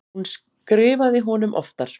Hún skrifaði honum oftar.